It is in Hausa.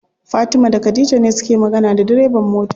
Fatima da khadija ne suke magana da direban mota.